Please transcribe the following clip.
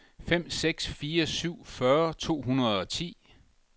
fem seks fire syv fyrre to hundrede og ti